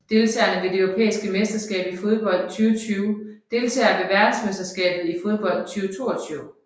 Deltagere ved det europæiske mesterskab i fodbold 2020 Deltagere ved verdensmesterskabet i fodbold 2022